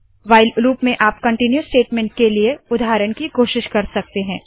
while loop में आप continue statement के लिए उदाहरण की कोशिश कर सकते है